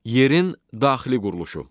Yerin daxili quruluşu.